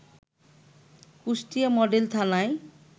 Kushtia model থানায়